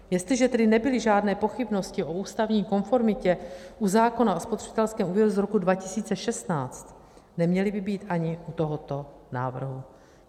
Jestliže tedy nebyly žádné pochybnosti o ústavní konformitě u zákona o spotřebitelském úvěru z roku 2016, neměly by být ani u tohoto návrhu.